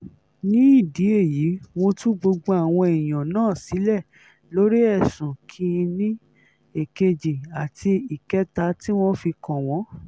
nídìí èyí mo tú gbogbo àwọn èèyàn náà sílẹ̀ lórí ẹ̀sùn kìn-ín-ní èkejì àti ìkẹta tí wọ́n fi kàn wọ́n